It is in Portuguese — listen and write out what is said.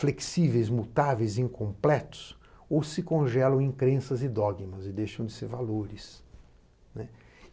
flexíveis, mutáveis, incompletos, ou se congelam em crenças e dogmas e deixam de ser valores.